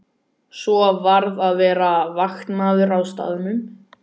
Svo varð að vera vaktmaður á staðnum.